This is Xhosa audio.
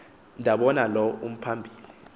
ndabona lo uphambili